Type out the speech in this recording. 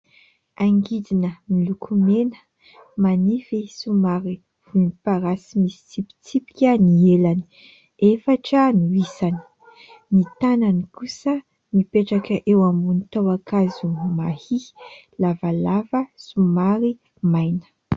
Angidina miloko mena, manify somary volomparasy misy tsipitsipika ny elany, efatra no isany. Ny tànany kosa mipetraka eo ambony tahon-kazo mahia, lavalava somary maina.